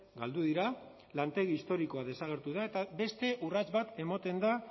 galdu dira lantegi historikoa desagertu da eta beste urrats bat ematen da